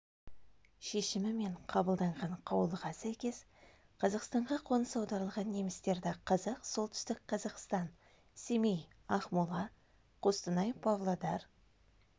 шешімімен қабылданған қаулыға сәйкес қазақстанға қоныс аударылған немістерді қазақ солтүстік қазақстан семей ақмола қостанай павлодар